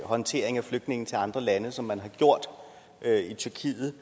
håndteringen af flygtninge til andre lande som man har gjort i tyrkiet